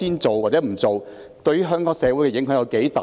這對香港社會有多大影響？